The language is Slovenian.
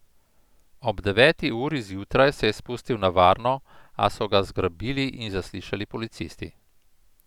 Ob deveti uri zjutraj se je spustil na varno, a so ga zgrabili in zaslišali policisti.